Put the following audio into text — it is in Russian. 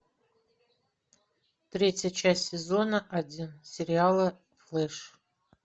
третья часть сезона один сериала флэш